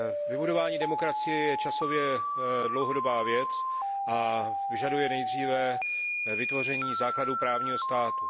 Vybudování demokracie je časově dlouhodobá věc a vyžaduje nejdříve vytvoření základu právního státu.